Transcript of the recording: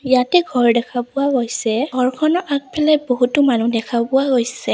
ইয়াতে ঘৰ দেখা পোৱা গৈছে ঘৰখনৰ আগফালে বহুতো মানুহ দেখা পোৱা গৈছে।